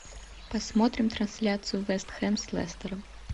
посмотрим трансляцию вест хэм с лестером